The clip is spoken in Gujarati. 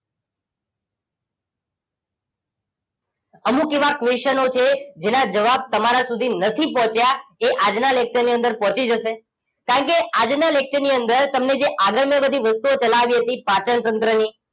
અમુક એવા question છે જેના જવાબ તમારા સુધી નથી પહોંચ્યા એ આજના lecture ની અંદર પહોંચી જશે કારણકે આજના lecture ની અંદર તમને જે આગળ મેં બધી વસ્તુઓ ચલાવી હતી પાચનતંત્રની